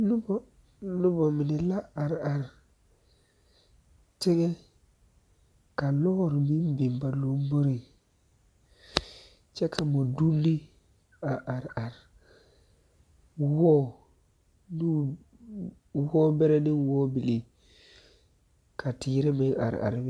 Nona mine la are are teŋa ka lɔɔre meŋ biŋ ba lamboriŋ kyɛ ka mɔdonne a are are wɔɔ ne wɔɔ bɛrɛ ne wɔɔ bilii ka teere meŋ are are be